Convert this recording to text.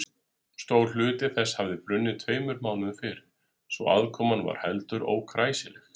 Stór hluti þess hafði brunnið tveimur mánuðum fyrr, svo aðkoman var heldur ókræsileg.